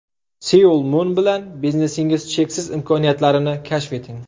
Seoul Mun bilan biznesingiz cheksiz imkoniyatlarini kashf eting!